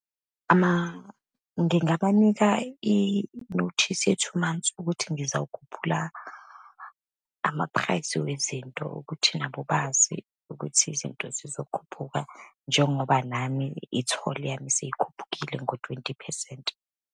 Ama, ngingabanika i-notice ye-two month ukuthi ngizawukhuphula ama-price wezinto, ukuthi nabo bazi ukuthi izinto zizokhuphuka, njengoba nami itholi yami seyikhuphukile ngo-twenty phesenti.